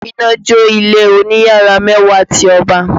Iná jó ilé oní yàrá mẹ́wàá ti Ọba